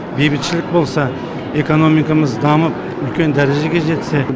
бейбітшілік болса экономикамыз дамып үлкен дәрежеге жетсе